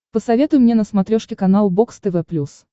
посоветуй мне на смотрешке канал бокс тв плюс